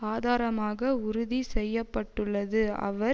ஆதாரமாக உறுதி செய்ய பட்டுள்ளது அவர்